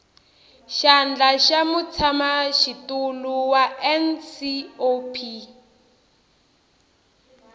xandla xa mutshamaxitulu wa ncop